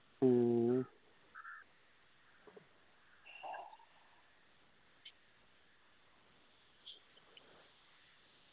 മ്മ് മ്